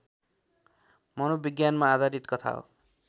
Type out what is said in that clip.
मनोविज्ञानमा आधारित कथा हो